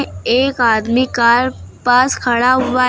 एक आदमी कार पास खड़ा हुआ है।